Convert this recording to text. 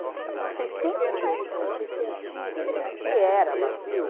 Para vocês terem uma noção, para vocês sentirem o que era vazio...